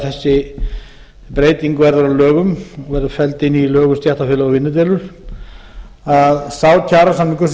breyting verður að lögum verður felld inn í lög um stéttarfélög og vinnudeilur að sá kjarasamningur sem